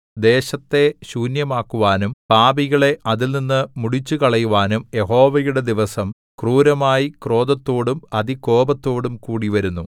ദേശത്തെ ശൂന്യമാക്കുവാനും പാപികളെ അതിൽനിന്ന് മുടിച്ചുകളയുവാനും യഹോവയുടെ ദിവസം ക്രൂരമായി ക്രോധത്തോടും അതികോപത്തോടും കൂടി വരുന്നു